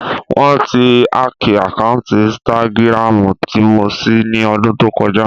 Wọ́n ti hákìì àkáǹtì ínstágíráàmù tí mo ṣí ní ọdún tó kọjá